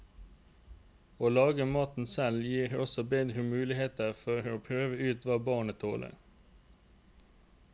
Å lage maten selv gir også bedre mulighet for å prøve ut hva barnet tåler.